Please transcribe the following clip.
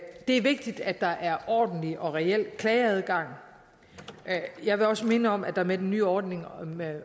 er vigtigt at der er ordentlig og reel klageadgang og jeg vil også minde om at der med den nye ordning med